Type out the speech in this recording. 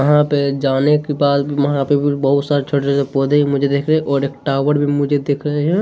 यहाँ पे जाने के बाद वहाँ पे फिर बोहोत सारे छोटे-छोटे पौधे मुझे देख रे है और एक टॉवर मुझे दिख रहे हैं।